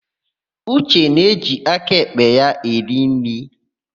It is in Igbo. Uche na-eji aka èkpè ya eri nri.